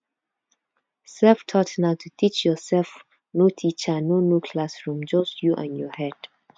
selftaught na to teach yourself no teacher no no classroomjust you and your head